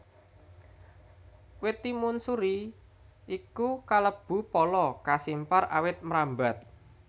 Wit timun suri iku kalebu pala kasimpar awit mrambat